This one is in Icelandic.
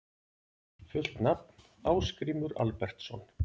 Fullt nafn: Ásgrímur Albertsson